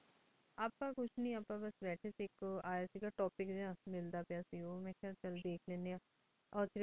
ਅਪਾ ਕੁਛ ਨੀ ਅਪਾ ਬਸ ਭਠੀ ਸੇ ਆਇਕ ਆਯ ਸੀਗਾ topic ਜੇਯ ਮਿਲ ਦਾ ਪ੍ਯ ਸੀਗਾ ਚਲ ਮੈਂ ਕਿਯਾ ਓਧ੍ਖ ਲੇਨ੍ਦ੍ਯਨ ਆਂ ਅਸਰੀ ਦ੍ਯਾਨਾ